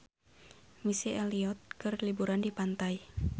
Missy Elliott keur liburan di pantai